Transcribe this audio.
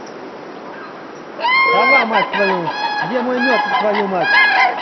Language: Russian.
сова мать твою где мой мёд твою мать